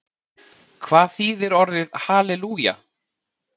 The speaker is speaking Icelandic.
Hvað þýðir orðið halelúja?